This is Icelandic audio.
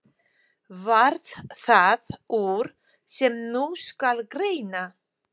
Varð það úr, sem nú skal greina.